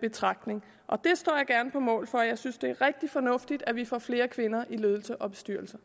betragtning og det står jeg gerne på mål for jeg synes det er rigtig fornuftigt at vi får flere kvinder i ledelser og bestyrelser